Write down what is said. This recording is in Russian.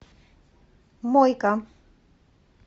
мойка